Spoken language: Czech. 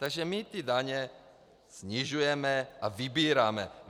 Takže my ty daně snižujeme a vybíráme.